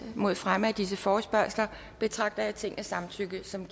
mod fremme af disse forespørgsler betragter jeg tingets samtykke som